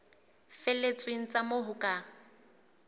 felletseng tsa moo ho ka